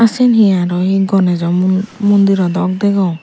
ah sien hi araw hi gonejo mu mundiro dok degong.